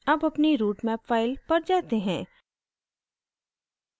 अब अपनी routemap file पर जाते हैं